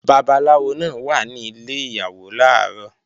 Babaláwo náà wà ní ilẹ̀ Ìyàwó làárọ̀